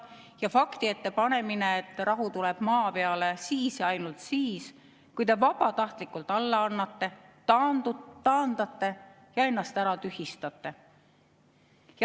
Meid pannakse fakti ette: rahu tuleb maa peale siis ja ainult siis, kui te vabatahtlikult alla annate, ennast taandate ja ära tühistate.